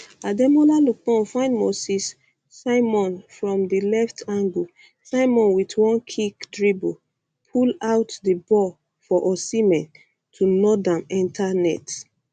ademola lookman find moses um simon from di left angle um simon wit one quick dribble pull out di ball for osihmen to nod am enta net